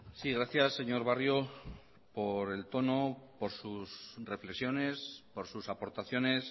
sí gracias señor barrio por el tono por sus reflexiones por sus aportaciones